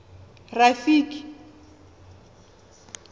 rafiki